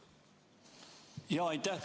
Aitäh!